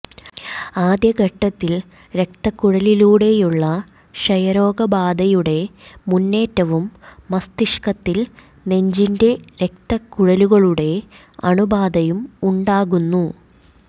ആദ്യ ഘട്ടത്തിൽ രക്തക്കുഴലിലൂടെയുള്ള ക്ഷയരോഗബാധയുടെ മുന്നേറ്റവും മസ്തിഷ്കത്തിൽ നെഞ്ചിന്റെ രക്തക്കുഴലുകളുടെ അണുബാധയും ഉണ്ടാകുന്നു